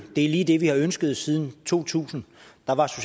er lige det vi har ønsket siden to tusind